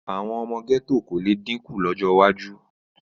Àwọn ọmọ gẹ́tò kò le dínkù lọ́jọ́ iwájú.